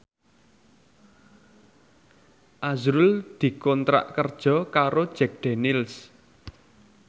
azrul dikontrak kerja karo Jack Daniels